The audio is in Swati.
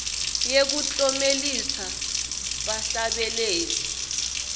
yekuklomelisa bahlabeleli